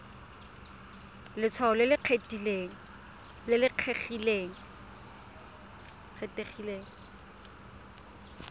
ya letshwao le le kgethegileng